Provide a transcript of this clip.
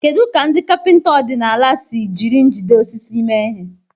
Kedu ka ndị kapịnta ọdịnala si jiri njide osisi mee ihe?